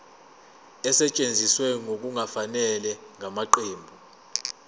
esetshenziswe ngokungafanele ngamaqembu